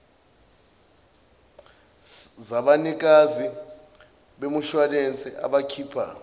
zabanikazi bemishuwalense abakhipha